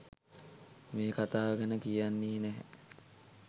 මේ කතාව ගැන කියන්නේ නැහැ.